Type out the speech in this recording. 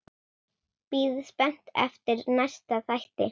Bíð spennt eftir næsta þætti.